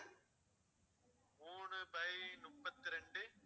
மூணு by முப்பத்திரெண்டு